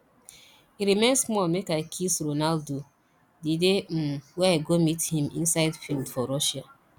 e remain small make i kiss ronaldo the dey um wey i go meet him inside field for russia